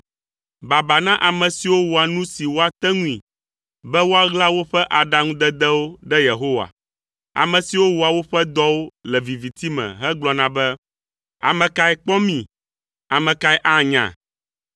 Baba na ame siwo wɔa nu si woate ŋui be woaɣla woƒe aɖaŋudedewo ɖe Yehowa; ame siwo wɔa woƒe dɔwo le viviti me hegblɔna be, “Ame kae kpɔ mi? Ame kae anya?”